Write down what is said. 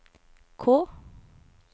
K